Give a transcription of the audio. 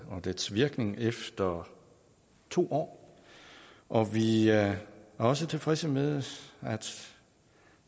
og dens virkning efter to år og vi er også tilfredse med at